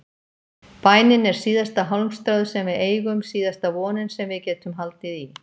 Bænin er síðasta hálmstráið sem við eigum, síðasta vonin sem við getum haldið í.